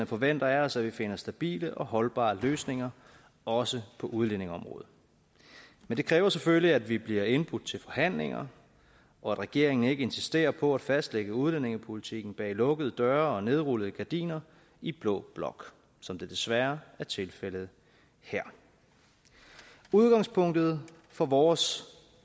forventer af os at vi finder stabile og holdbare løsninger også på udlændingeområdet men det kræver selvfølgelig at vi bliver indbudt til forhandlinger og at regeringen ikke insisterer på at fastlægge udlændingepolitikken bag lukkede døre og nedrullede gardiner i blå blok som det desværre er tilfældet her udgangspunktet for vores